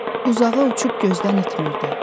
Uzağa uçub gözdən itmirdi.